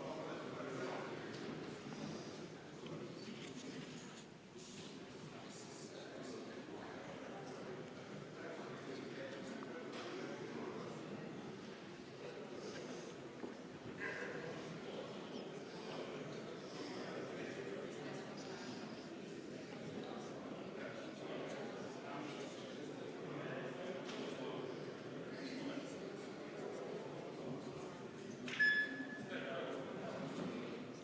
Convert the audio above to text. Kohaloleku kontroll